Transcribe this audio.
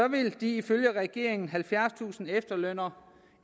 vil de ifølge regeringen halvfjerdstusind efterlønnere